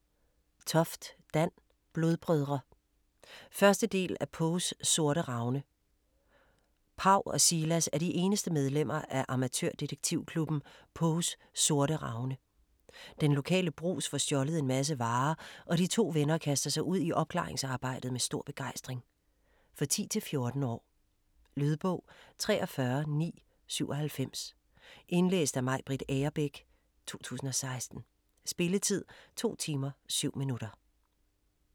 Toft, Dan: Blodbrødre 1. del af Poes Sorte Ravne. Paw og Silas er de eneste medlemmer af amatørdetektivklubben Poes Sorte Ravne. Den lokale Brugs får stjålet en masse varer, og de to venner kaster sig ud i opklaringsarbejdet med stor begejstring. For 10-14 år. Lydbog 43997 Indlæst af Maj-Britt Agerbæk, 2016. Spilletid: 2 timer, 7 minutter.